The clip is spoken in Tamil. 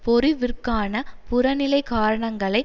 பொறிவிற்கான புறநிலை காரணங்களை